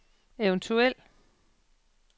eventuel